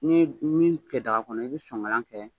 Ni ni y'u kɛ daga kɔnɔ i bɛ sonkalan kɛ.